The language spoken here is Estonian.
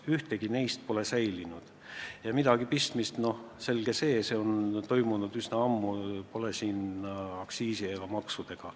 Ühtegi neist pole enam ammu alles ja midagi pistmist pole siin aktsiisi ega maksudega.